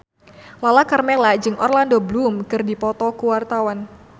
Lala Karmela jeung Orlando Bloom keur dipoto ku wartawan